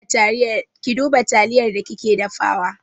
Ki duba taliyar da kike dafawa!